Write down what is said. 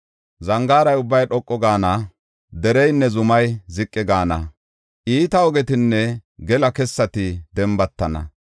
Zangaara ubbay dhoqu gaana; dereynne zumay ziqi gaana; iita ogetinne gela kessati dembatana.